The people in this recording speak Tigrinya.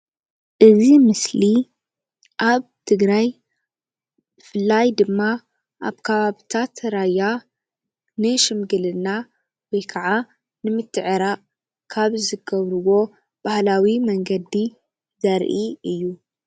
እዚ ምስሊ ኣብ ትግራይ ብፍላይ ድማ ኣብ ከባቢታት ራያ ንሽምግልና ወይ ከዓ ንምትዕራቕ ካብ ዝገብርዎ ባህላዊ መንገዲ ዘርኢ እዩ።